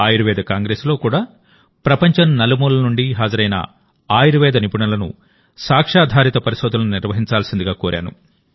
ఆయుర్వేద కాంగ్రెస్లో కూడాప్రపంచం నలుమూలల నుండి హాజరైన ఆయుర్వేద నిపుణులను సాక్ష్యాధారిత పరిశోధనలు నిర్వహించాల్సిందిగా కోరాను